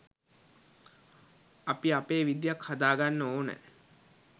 අපි අපේ විදියක් හදාගන්න ඕන.